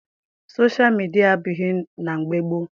Soshal midia adịbughị na mgbe gboo.